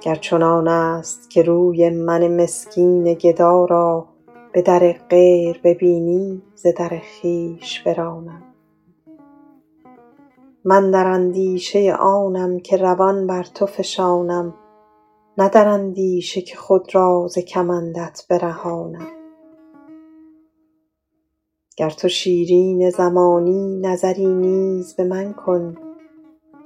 گر چنان است که روی من مسکین گدا را به در غیر ببینی ز در خویش برانم من در اندیشه آنم که روان بر تو فشانم نه در اندیشه که خود را ز کمندت برهانم گر تو شیرین زمانی نظری نیز به من کن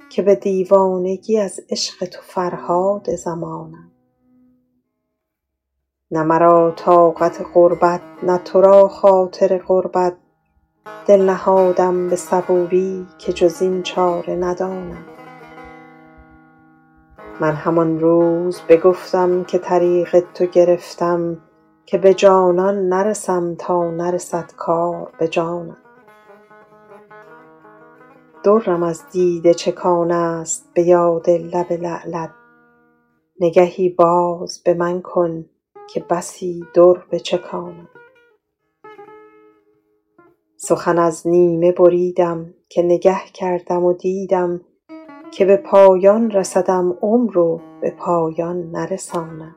که به دیوانگی از عشق تو فرهاد زمانم نه مرا طاقت غربت نه تو را خاطر قربت دل نهادم به صبوری که جز این چاره ندانم من همان روز بگفتم که طریق تو گرفتم که به جانان نرسم تا نرسد کار به جانم درم از دیده چکان است به یاد لب لعلت نگهی باز به من کن که بسی در بچکانم سخن از نیمه بریدم که نگه کردم و دیدم که به پایان رسدم عمر و به پایان نرسانم